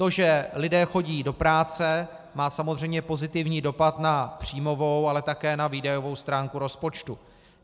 To, že lidé chodí do práce, má samozřejmě pozitivní dopad na příjmovou, ale také na výdajovou stránku rozpočtu.